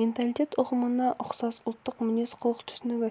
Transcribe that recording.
менталитет ұғымына ұқсас ұлттық мінез-құлық түсінігі